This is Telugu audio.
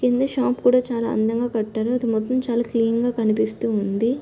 కింద షాప్ కూడా చాలా అందంగా కట్టారు. అది మొత్తం చాలా క్లీన్ గా అందముగా కనిపిస్తూ ఉంది.